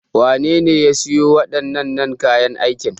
Wane ne ya sayo wadanan nan kayan aikin?